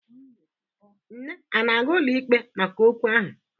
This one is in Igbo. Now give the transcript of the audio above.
Nne ana-aga ụlọikpe maka okwu ahụ?